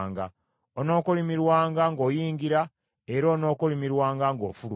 Onookolimirwanga ng’oyingira era onookolimirwanga ng’ofuluma.